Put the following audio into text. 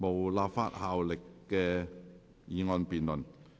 無立法效力的議案辯論。